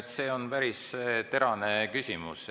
See on päris terane küsimus.